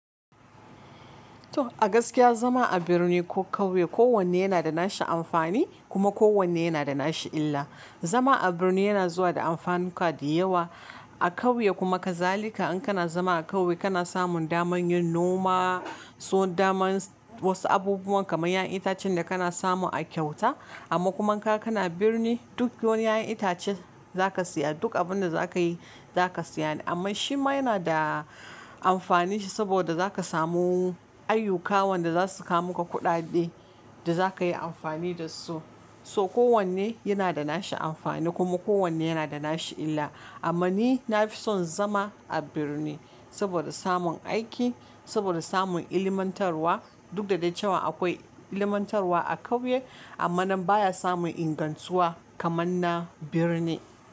To a gaskiya zama a birni ko kauye kowanne yana da nashi amfani, kuma kowanne yana da nashi illa. Zama a birni yana zuwa da amfanuka da yawa a kauye kuma kazalika in kana zama a kauye kana samun daman yin noma, so daman wasu abubuwan kamar ƴaƴan itacen da kana samu a kyauta, amma kuma in ka kana birni duk wani ƴaƴan itace, za ka siya duk abin da za ka yi za ka siya ne, amma shi ma yana da amfani shi saboda za ka samu ayyuka wanda za su ka muka kuɗaɗe, da za ka yi amfani da su. So kowanne yana da nashi amfani, kuma kowanne yana da nashi illa, amma ni na fi son zama a birni, saboda samun aiki, saboda samun ilmantarwa, duk da dai cewa akwai ilmantarwa a kauye, amma nan baya samun ingantuwa kamar na birni.